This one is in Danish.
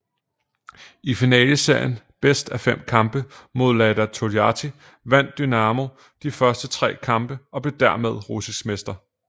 I finaleserien bedst af fem kampe mod Lada Toljatti vandt Dynamo de første tre kampe og blev dermed russisk mester